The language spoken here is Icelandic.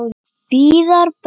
Viðar bróðir.